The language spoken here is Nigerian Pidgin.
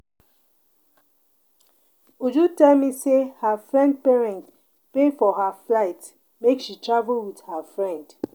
Uju tell me say her friend parent pay for her flight make she travel with her friend